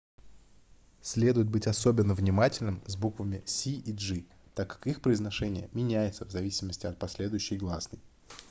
следует быть особенно внимательным с буквами c и g так как их произношение меняется в зависимости от последующей гласной